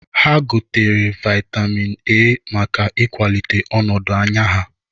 Ha gotere vaịtamin A maka ịkwalite ọnọdụn anya ha.